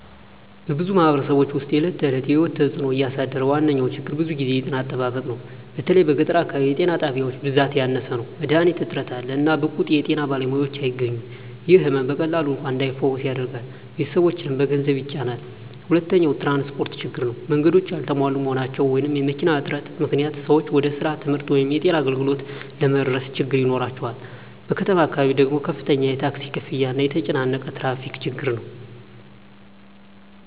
በብዙ ማኅበረሰቦች ውስጥ የዕለት ተዕለት ሕይወትን እየተጽእኖ ያሳደረ ዋነኛ ችግር ብዙ ጊዜ ጤና አጠባበቅ ነው። በተለይ በገጠር አካባቢ የጤና ጣቢያዎች ብዛት ያነሰ ነው፣ መድሀኒት እጥረት አለ፣ እና ብቁ የጤና ባለሙያዎች አያገኙም። ይህ ሕመም በቀላሉ እንኳን እንዳይፈወስ ያደርጋል፣ ቤተሰቦችንም በገንዘብ ይጫናል። ሁለተኛው ትራንስፖርት ችግር ነው። መንገዶች ያልተሟሉ መሆናቸው ወይም መኪና እጥረት ምክንያት ሰዎች ወደ ስራ፣ ትምህርት ወይም የጤና አገልግሎት ለመድረስ ችግኝ ይኖራቸዋል። በከተማ አካባቢ ደግሞ ከፍተኛ ታክሲ ክፍያ እና የተጨናነቀ ትራፊክ ችግር ነው።